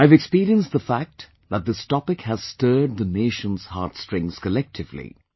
I have experienced the fact that this topic has stirred the nation's heart strings collectively